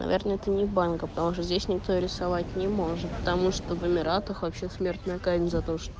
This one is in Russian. наверное ты не банка потому что здесь никто рисовать не может потому что в эмиратах вообще смертная казнь за то что